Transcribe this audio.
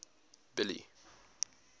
billy